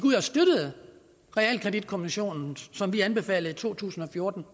realkreditkommission som vi anbefalede i to tusind og fjorten